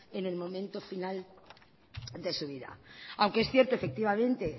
en el momento final de su vida aunque es cierto efectivamente